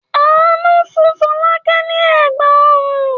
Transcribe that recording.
Àánú fún Fọlákẹ́ ni Ẹ̀gbá-ọrùn.